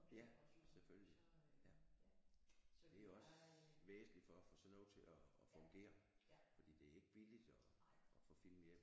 Ja selvfølgelig ja det er jo også væsentligt for at få sådan noget til at fungere fordi det er ikke billigt at at få film hjem